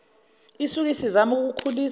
isuke isizama ukukhulisa